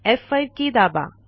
F5 की दाबा